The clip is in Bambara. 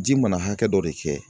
Ji mana hakɛ dɔ de kɛ